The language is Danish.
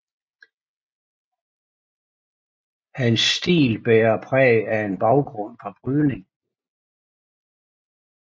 Hans til bærer præg af en baggrund fra brydning